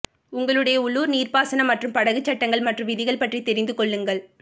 உங்களுடைய உள்ளூர் நீர்ப்பாசனம் மற்றும் படகு சட்டங்கள் மற்றும் விதிகள் பற்றி தெரிந்து கொள்ளுங்கள்